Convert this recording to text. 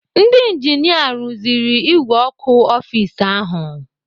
Ndị injinia rụziri ìgwè ọkụ ọfis ahụ.